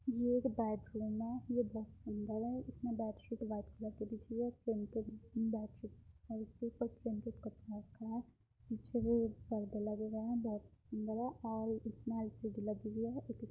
ये एक बैडरूम है। ये बोहोत सुन्दर है। इसमें बेडशीट वाइट कलर की बिछी है। प्रिंटेड बेडशीट और इसके ऊपर प्रिंटेड कपड़ा रखा है। पीछे वो पर्दे लगे हुए हैं बोहोत सुन्दर है और इसमें एल सी डी लगी हुई है --